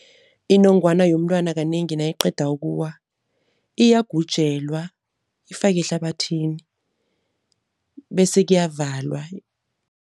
Inongwana yomntwana kanengi nayiqeda ukuwa, iyagujelwa ifake ehlabathini bese kuyavalwa.